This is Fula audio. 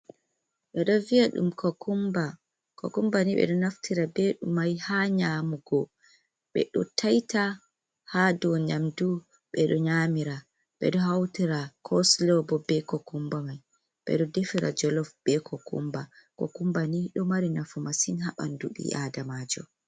Ɓe ɗo viya ɗum kokumba, kokumba ni ɓeɗo naftira ɓe ɗo mai ha nyamugo, ɓe ɗo taita ha dou nyamdu ɓeɗo nyamira, ɓeɗo hautira koslo bo be kokumba mai, ɓeɗo defira jolof be ko kumba, kokumbani ɗo mari nafu massin ha ɓanɗu ɓi adamajo.